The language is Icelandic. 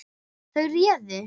Þau réðu.